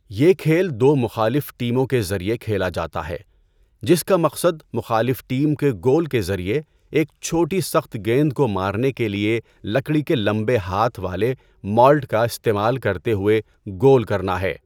یہ کھیل دو مخالف ٹیموں کے ذریعے کھیلا جاتا ہے، جس کا مقصد مخالف ٹیم کے گول کے ذریعے، ایک چھوٹی سخت گیند کو مارنے کے لئے لکڑی کے لمبے ہاتھ والے مالٹ کا استعمال کرتے ہوئے گول کرنا ہے۔